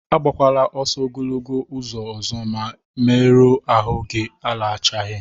A gbakwala ọsọ ogologo ụzọ ọzọ ma mmeru ahụ gị alachaghị!